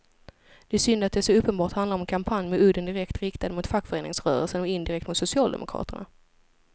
Det är synd att det så uppenbart handlar om en kampanj med udden direkt riktad mot fackföreningsrörelsen och indirekt mot socialdemokraterna.